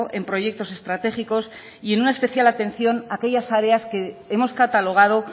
en proyectos estratégicos y en una especial atención aquellas áreas que hemos catalogado